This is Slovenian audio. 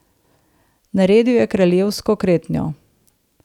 Naredil je kraljevsko kretnjo.